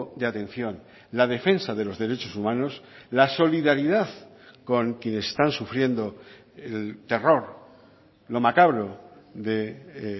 de atención la defensa de los derechos humanos la solidaridad con quienes están sufriendo el terror lo macabro de